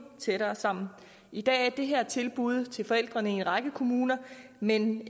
tættere sammen i dag er det her et tilbud til forældrene i en række kommuner men